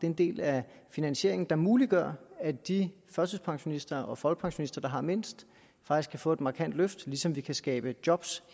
en del af finansieringen der muliggør at de førtidspensionister og folkepensionister der har mindst faktisk kan få et markant løft ligesom vi kan skabe job